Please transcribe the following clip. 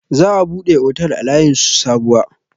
Za a buɗe otel a layin su Sabuwa.